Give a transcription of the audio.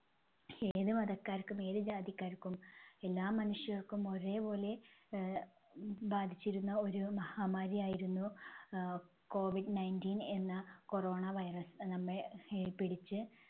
ഏത് മതക്കാർക്കും ഏത് ജാതിക്കാർക്കും എല്ലാ മനുഷ്യർക്കും ഒരേപോലെ ആഹ് ബാധിച്ചിരുന്ന ഒരു മഹാമാരിയായിരുന്നു ആഹ് കോവിഡ് ninteen എന്ന corona virus നമ്മെ ഹേ പിടിച്ച്